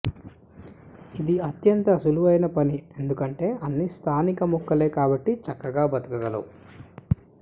ఇది అత్యంత సులువైన పని ఎందుకంటే అన్నీ స్థానిక మొక్కలే కాబట్టి చక్కగా బతకగలవు